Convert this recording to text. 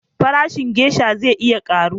Farashin gesha zai iya karu